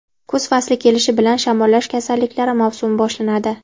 Kuz fasli kelishi bilan shamollash kasalliklari mavsumi boshlanadi.